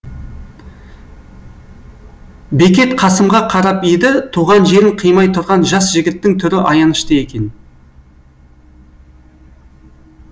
бекет қасымға қарап еді туған жерін қимай тұрған жас жігіттің түрі аянышты екен